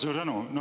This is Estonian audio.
Suur tänu!